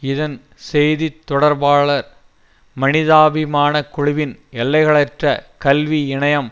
இதன் செய்தி தொடர்பாளர் மனிதாபிமானக் குழுவின் எல்லைகளற்ற கல்வி இணையம்